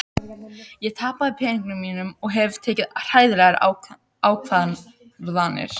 Ég tapaði peningunum mínum og hef tekið hræðilegar ákvarðanir.